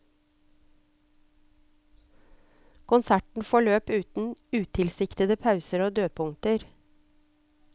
Konserten forløp uten utilsiktede pauser og dødpunkter.